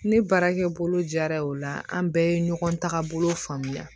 Ne baarakɛ bolo jara o la an bɛɛ ye ɲɔgɔn tagabolo faamuya